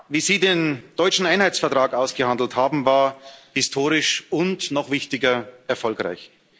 Wie Sie den deutschen Einheitsvertrag ausgehandelt haben, war historisch und noch wichtiger erfolgreich.